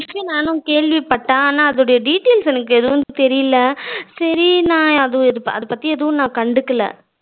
அந்த விஷயம் நானும் கேள்விப்பட்டேன் ஆனால் அதோட details எனக்கு எதுவும் தெரியல சரி நான் ஒரு அது பத்தி நா எதுவும் கண்டுக்கல